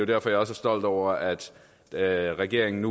derfor jeg er stolt over at at regeringen